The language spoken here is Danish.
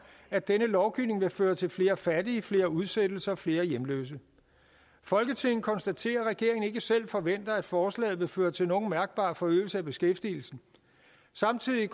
at denne lovgivning vil føre til flere fattige flere udsættelser flere hjemløse folketinget konstaterer at regeringen ikke selv forventer at forslaget vil føre til nogen mærkbar forøgelse af beskæftigelsen samtidig